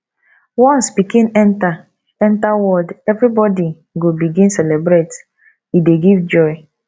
once pikin enta enta world everybodi go begin celebrate e dey give joy